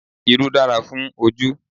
Irú dára fún ojú